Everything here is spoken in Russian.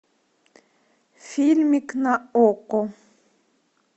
фильмик на окко